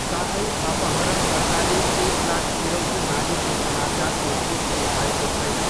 साथै, अपहरणकर्ताले एक लाख फिरौती मागेको समाचारको पुष्टि भएको छैन।